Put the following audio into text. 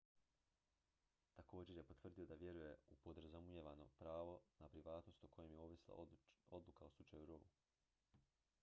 također je potvrdio da vjeruje u podrazumijevano pravo na privatnost o kojem je ovisila odluka u slučaju roe